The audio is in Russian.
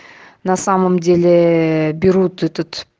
на самом деле берут тут